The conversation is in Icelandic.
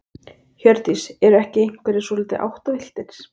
Hjördís: Eru ekki einhverjir svolítið áttavilltir?